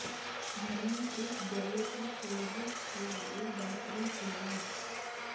گھر میں ایک گلے کی سوزش کے لئے بہترین علاج